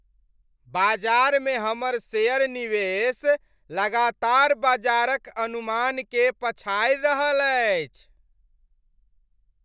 बाजारमे हमर शेयर निवेश लगातार बाजार क अनुमान के पछाडि रहल अछि।